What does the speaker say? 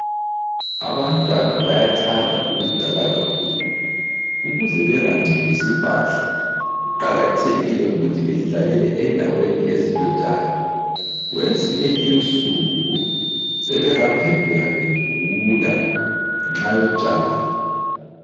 Abantwana bayathanda ukudlala kakhulu, ukuze bengangcolisi impahla kuqakathekile uthi bedlalele endaweni ezilotshani. Kwezinye insuku, sebengaphenduka begula ngenxa yotshani.